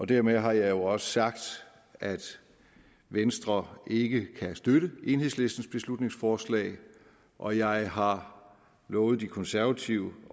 dermed har jeg jo også sagt at venstre ikke kan støtte enhedslistens beslutningsforslag og jeg har lovet de konservative